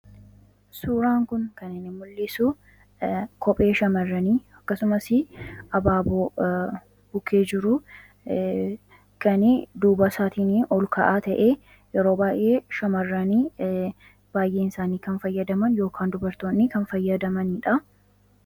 suuraan kun kani mul'isu kophee shamarranii akkasumas abaaboo bukee jiru kani duuba isaatiinii ol ka'aa ta'e yeroo baayee shamaranii baay'ee isaanii kan fayyadaman ykn dubartoonni kan fayyadamaniidha